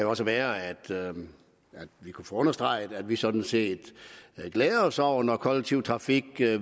også være at vi kunne få understreget at vi sådan set glæder os over det når kollektiv trafik